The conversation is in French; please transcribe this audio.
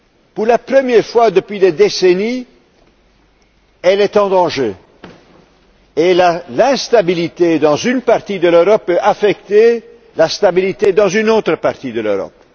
Pour la première fois depuis des décennies, elles se trouvent en danger l'instabilité dans une partie de l'Europe pourrait affecter la stabilité dans une autre partie de l'Europe.